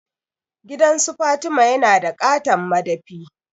Gidansu Fatima yana da ƙaton madafi.